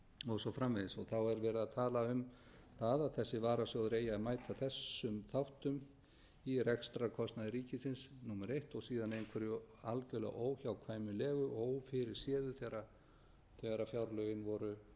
og svo framvegis þá er verið að tala um það að þessi varasjóður eigi að mæta þessum þáttum í rekstrarkostnaði ríkisins númer eitt og síðan einhverju algjörlega óhjákvæmilegu og ófyrirséðu þegar fjárlögin